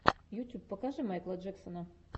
ютюб покажи майкла джексона